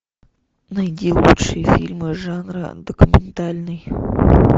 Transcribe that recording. найди лучшие фильмы жанра документальный